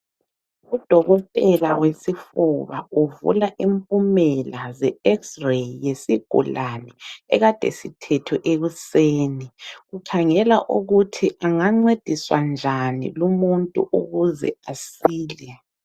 Udokotela wesifuba ufuna impumela ze X-Ray yesigulani ekade sithethwe ekuseni. Ukhangela ukuthi angancediswa njani lumuntu ukuze asile.